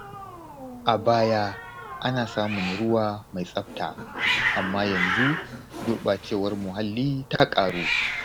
A baya, ana samun ruwa mai tsabta, amma yanzu gurbacewar muhalli ta ƙaru.